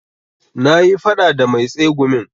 Na yi faɗa da mai tsegumin